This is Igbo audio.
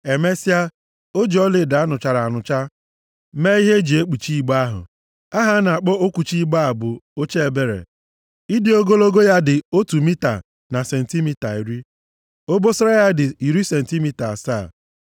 Emesịa, o ji ọlaedo a nụchara anụcha mee ihe e ji ekwuchi igbe ahụ. Aha a na-akpọ okwuchi igbe a bụ Oche Ebere. Ịdị ogologo ya dị otu mita na sentimita iri, obosara ya dị iri sentimita asaa.